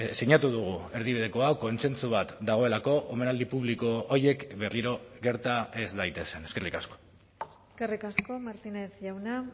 sinatu dugu erdibideko hau kontsentsu bat dagoelako omenaldi publiko horiek berriro gerta ez daitezen eskerrik asko eskerrik asko martínez jauna